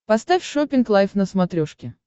поставь шоппинг лайв на смотрешке